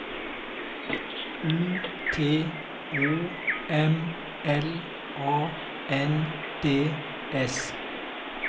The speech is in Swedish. U T O M L A N D S